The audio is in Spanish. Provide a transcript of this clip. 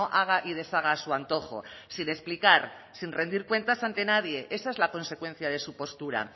haga y deshaga a su antojo sin explicar sin rendir cuentas ante nadie esa es la consecuencia de su postura